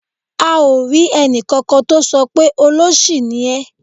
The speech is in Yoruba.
A ò rí ẹnìkankan tó sọ pé "olóṣì ni ẹ́".